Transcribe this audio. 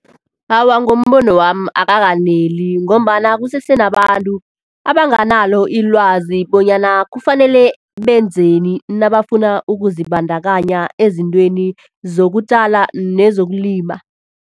Awa, ngombono wami abakaneli ngombana kusese nabantu abanganalo ilwazi bonyana kufanele benzeni nabafuna ukuzibandakanya ezintweni zokutjala nezokulima.